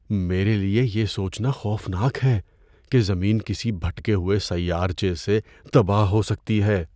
میرے لیے یہ سوچنا خوفناک ہے کہ زمین کسی بھٹکے ہوئے سیارچے سے تباہ ہو سکتی ہے۔